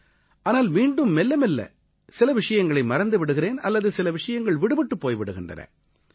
ஆனால் மீண்டும் மெல்ல மெல்ல சில விஷயங்களை மறந்து விடுகிறேன் அல்லது சில விஷயங்கள் விடுபட்டுப் போய் விடுகின்றன